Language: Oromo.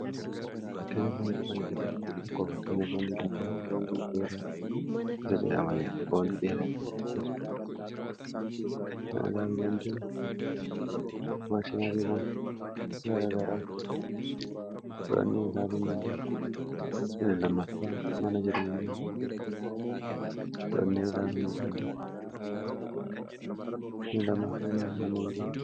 akkenya boondii wan isaisa akkofakkenya boondii lafaa boondii dheeraa isa jedhamani boondii dheera laalu dandae maashinaariiwa gara garaa aluu danda ffa mana jireena in2affa manan g